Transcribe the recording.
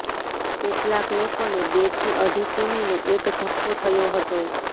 કેટલાક લોકોને બેથી અઢી કિમીનો એક ધક્કો થયો હતો